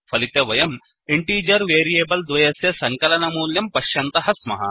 फलिते वयं integer variable द्वयस्य सङ्कलनमूल्यं पश्यन्तः स्मः